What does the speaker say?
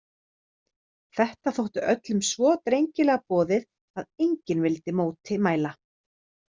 Þetta þótti öllum svo drengilega boðið að enginn vildi móti mæla.